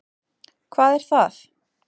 Hvað er það?